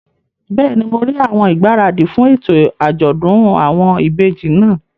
Bẹ́ẹ̀ni, mo rí àwọn ìgbáradì fún ètò àjọ̀dún àwọn ìbejì náà